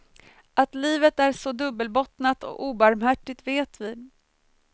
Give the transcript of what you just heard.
Att livet är så dubbelbottnat och obarmhärtigt vet vi.